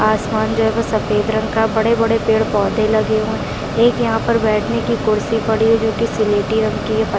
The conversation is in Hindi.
आसमान जो है वो सफेद रंग का बड़े-बड़े पेड़ पौधे लगे हुए हैं एक यहाँ पर बैठने की कुर्सी पड़ी है जो कि सिलेटी रंग की है पत --